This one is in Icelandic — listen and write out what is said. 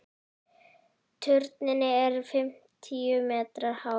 Turninn er fimmtíu metra hár.